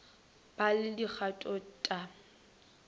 ba le dikgato t a